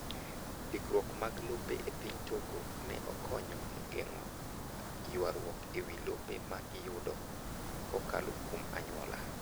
Ndikruok mag lope e piny Togo ne okonyo e geng'o ywaruok ewi lope ma iyudo kukalo kuom anyuola.